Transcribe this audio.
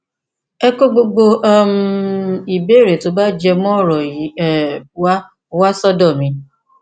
ẹ kó gbogbo um ìbéèrè tó bá jẹ mọ ọrọ yìí um wá wá sọdọ mi